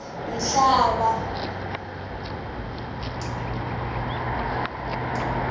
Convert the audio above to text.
mhlava